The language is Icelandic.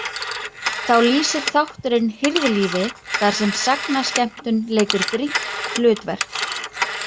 Þá lýsir þátturinn hirðlífi þar sem sagnaskemmtun leikur brýnt hlutverk.